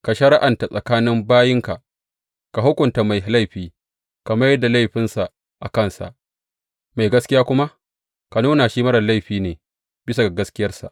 Ka shari’anta tsakanin bayinka, ka hukunta mai laifi, ka mai da laifinsa a kansa, mai gaskiya kuma ka nuna shi marar laifi ne bisa ga gaskiyarsa.